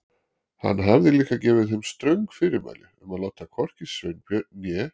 Hann hafði líka gefið þeim ströng fyrirmæli um að láta hvorki Sveinbjörn né